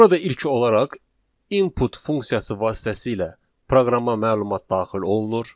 Burada ilki olaraq input funksiyası vasitəsilə proqrama məlumat daxil olunur.